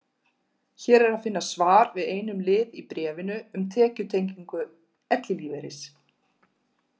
Hér er að finna svar við einum lið í bréfinu, um tekjutengingu ellilífeyris.